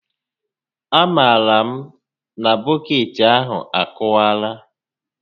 A ma m na bọkeetị ahụ akụwaala